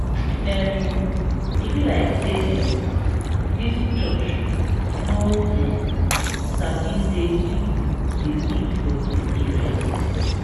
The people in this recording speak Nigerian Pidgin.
um e be like sey um dis church no um sabi sey pipu dey live for dis area.